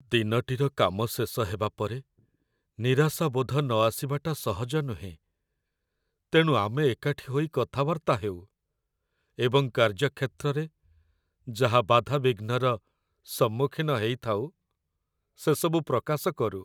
ଦିନଟିର କାମ ଶେଷ ହେବାପରେ ନିରାଶାବୋଧ ନ ଆସିବାଟା ସହଜ ନୁହେଁ, ତେଣୁ ଆମେ ଏକାଠି ହୋଇ କଥାବାର୍ତ୍ତା ହେଉ, ଏବଂ କାର୍ଯ୍ୟକ୍ଷେତ୍ରରେ ଯାହା ବାଧାବିଘ୍ନର ସମ୍ମୁଖୀନ ହେଇଥାଉ, ସେସବୁ ପ୍ରକାଶ କରୁ।